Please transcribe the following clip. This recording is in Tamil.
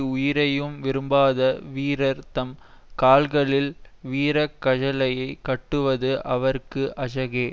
உயிரையும் விரும்பாத வீரர் தம் கால்களில் வீரக்கழலைக் கட்டுவது அவர்க்கு அழகே